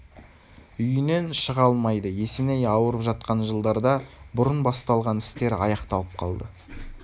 үйінен шыға алмайды есеней ауырып жатқан жылдарда бұрын басталған істері аяқталып қалды